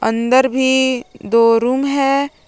अंदर भी दो रूम है।